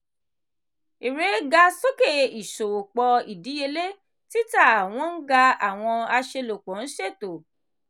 ere ga soke iṣowo pọ idiyele tita wọn ń ga awọn aṣelọpọ ń ṣeto.